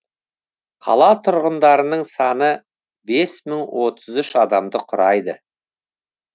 қала тұрғындарының саны бес мың отыз үш адамды құрайды